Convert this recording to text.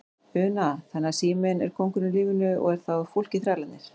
Una: Þannig að síminn er kóngurinn í lífinu og er þá fólkið þrælarnir?